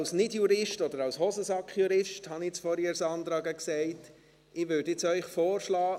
Ich als Nicht-Jurist oder als Hosensack-Jurist – wie ich vorhin zu Sandra Lagger gesagt habe – würde Ihnen Folgendes vorschlagen: